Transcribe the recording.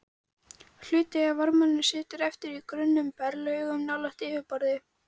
Hluti af varmanum situr eftir í grunnum berglögum nálægt yfirborði.